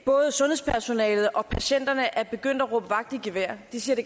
både sundhedspersonalet og patienterne er begyndt at råbe vagt i gevær de siger at